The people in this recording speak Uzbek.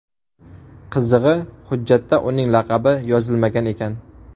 Qizig‘i, hujjatda uning laqabi yozilmagan ekan.